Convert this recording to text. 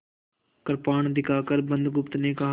कृपाण दिखाकर बुधगुप्त ने कहा